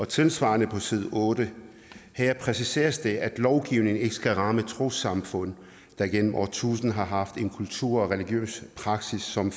tilsvarende på side 8 her præciseres det at lovgivningen ikke skal ramme trossamfund der gennem årtusinder har haft en kultur og religiøs praksis som